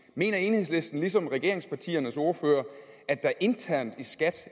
mener enhedslisten ligesom regeringspartiernes ordførere at der internt i skat